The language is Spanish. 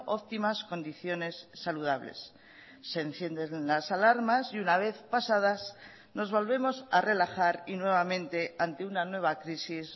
óptimas condiciones saludables se encienden las alarmas y una vez pasadas nos volvemos a relajar y nuevamente ante una nueva crisis